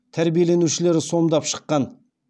тәрбиеленушілері сомдап шыққан